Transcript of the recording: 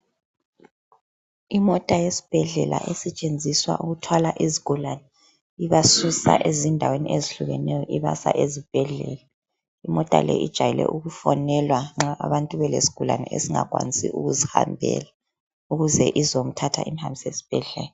Imota yesibhedlela esetshenziswa ukuthwala izigulane ibasusa endaweni ezehlukeneyo ibasa ezibhedlela , imota ke ijayele ukufonelwa nxa abantu belesigulane esingakwanisi ukuzihambela ukuze izomthatha imhambise esibhedlela